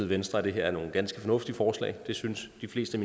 venstre at det her er nogle ganske fornuftige forslag det synes de fleste